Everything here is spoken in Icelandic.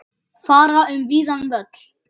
Fara um víðan völl.